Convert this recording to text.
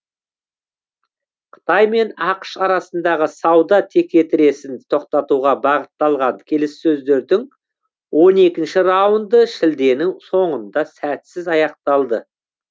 қытай мен ақш арасындағы сауда текетіресін тоқтатуға бағытталған келіссөздердің он екінші раунды шілденің соңында сәтсіз аяқталды